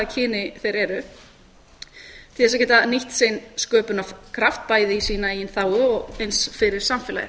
þeir eru til þess að geta nýtt sinn sköpunarkraft bæði í sína eigin þágu og eins fyrir samfélagið